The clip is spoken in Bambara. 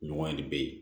Ɲɔgɔn bɛ ye